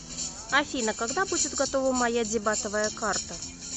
афина когда будет готова моя дебатовая карта